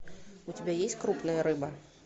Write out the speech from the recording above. у тебя есть крупная рыба